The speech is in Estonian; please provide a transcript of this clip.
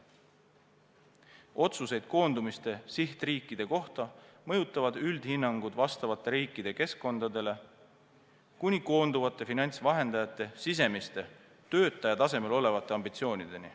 Otsuseid koondumiste sihtriikide kohta mõjutavad üldhinnangud vastavate riikide keskkondadele, seda kuni koonduvate finantsvahendajate sisemiste töötaja tasemel olevate ambitsioonideni.